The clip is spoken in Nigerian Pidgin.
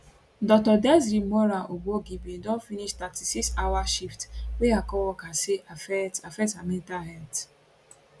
dr desree moraa obwogi bin don finish 36 hour shift wey her coworkers say affect affect her mental health